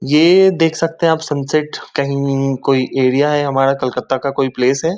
ये देख सकते हैं आप सन सेट कहीं कोई एरिया है हमारा कलकत्ता का कोई प्लेस है।